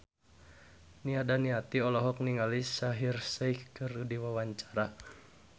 Nia Daniati olohok ningali Shaheer Sheikh keur diwawancara